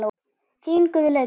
Þín Guðlaug Katrín.